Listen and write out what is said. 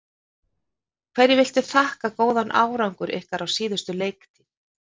Hverju viltu þakka góðan árangur ykkar á síðustu leiktíð?